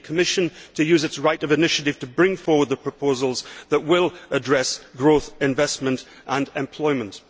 We need the Commission to use its right of initiative to bring forward the proposals that will address growth, investment and employment.